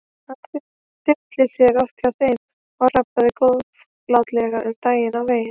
Hann tyllti sér oft hjá þeim og rabbaði góðlátlega um daginn og veginn.